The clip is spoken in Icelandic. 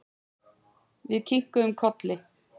Við kinkuðum kolli.